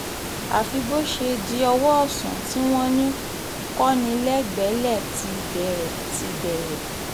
àfi bó ṣe di ọwọ́ ọ̀sán tí wọ́n ní kọnilẹgbẹlẹ̀ ti bẹ̀rẹ̀ ti bẹ̀rẹ̀